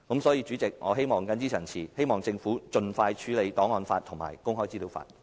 所以，主席，我謹此陳辭，希望政府盡快處理檔案法和公開資料法。